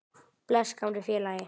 Bless, gamli félagi.